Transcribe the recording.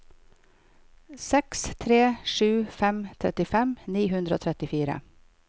seks tre sju fem trettifem ni hundre og trettifire